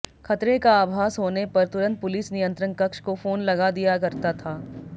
खतरे का आभास होने पर तुरंत पुलिस नियंत्रण कक्ष को फोन लगा दिया करता था